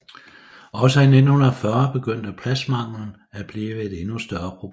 Også i 1940 begyndte pladsmanglen at blive et endnu større problem